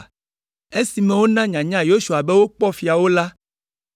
Esime wona nyanya Yosua be wokpɔ fiawo la,